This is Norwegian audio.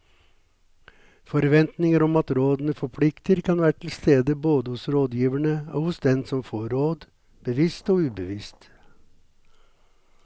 Forventninger om at rådene forplikter kan være til stede både hos rådgiverne og hos den som får råd, bevisst og ubevisst.